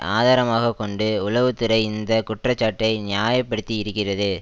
ஆதாரமாக கொண்டு உளவு துறை இந்த குற்றச்சாட்டை நியாய படுத்தி இருக்கிறது